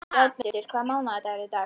Játmundur, hvaða mánaðardagur er í dag?